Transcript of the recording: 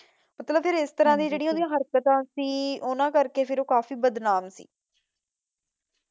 ਮਤਲਬ ਫਿਰ ਇਸ ਤਰ੍ਹਾਂ ਦੀ ਜਿਹੜੀਆਂ ਉਹਦੀ ਹਰਕਤਾਂ ਸੀ ਉਹਨਾਂ ਕਰਕੇ ਫਿਰ ਉਹ ਕਾਫ਼ੀ ਬਦਨਾਮ ਸੀ